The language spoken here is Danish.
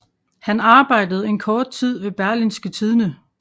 Han arbejdede en kort tid ved Berlingske Tidende